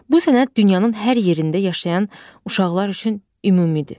Bu sənəd dünyanın hər yerində yaşayan uşaqlar üçün ümumidir.